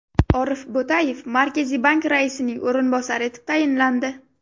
Orif Bo‘tayev Markaziy bank raisining o‘rinbosari etib tayinlandi.